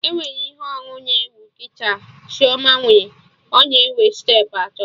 Enwere ihe onu na-ewu kịta Chioma nwere, ọ na enwe steepụ atọ